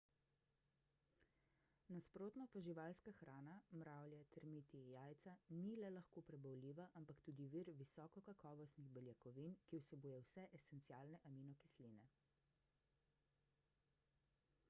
nasprotno pa živalska hrana mravlje termiti jajca ni le lahko prebavljiva ampak tudi vir visokokakovostnih beljakovin ki vsebuje vse esencialne aminokisline